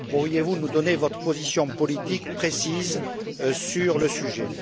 pourriez vous nous donner votre position politique précise sur le sujet?